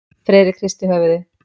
Friðrik hristi höfuðið.